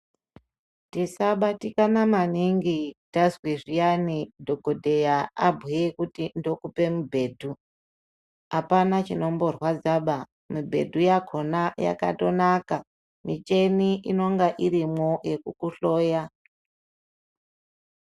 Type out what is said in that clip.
Tisabatikana maningi tazwe zviyani dhokodheya abhuye kuti tokupe mubhedhu. Apana chinomborwadzaba. Mibhedhu yakona yakatonaka. Micheni inonga irimwo yekukuhloya.